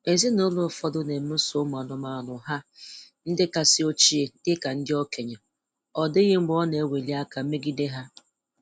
Ezinụlọ ụfọdụ na-emeso anụmanụ ha ndị kasị ochie dị ka ndị okenye, ọ dịghị mgbe ọ na-eweli aka megide ha.